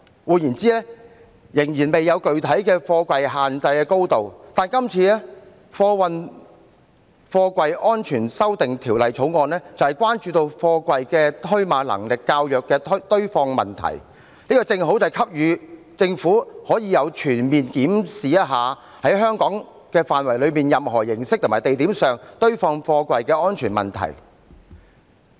"換言之，我們仍然未有具體的貨櫃限制高度，但今次《條例草案》就是關注到貨櫃的堆碼能力較弱的堆放問題，這正好給予政府機會，可以全面檢視在香港範圍內以任何形式及地點上堆放貨櫃的安全問題。